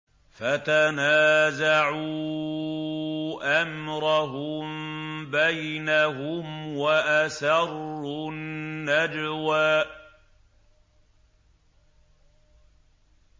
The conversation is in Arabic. فَتَنَازَعُوا أَمْرَهُم بَيْنَهُمْ وَأَسَرُّوا النَّجْوَىٰ